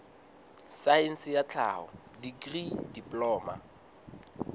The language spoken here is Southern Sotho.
saense ya tlhaho dikri diploma